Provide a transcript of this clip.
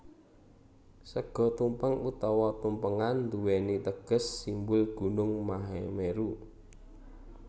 Sega tumpeng utawa tumpengan nduwèni teges simbol gunung Mahameru